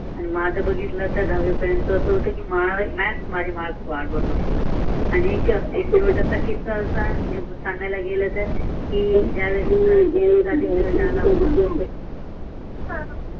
तर माझ बघितलात दहावी परियंत असा होत कि म्याथ माझीच वाट बघत होता आणि सान्गाय ला गेल्तर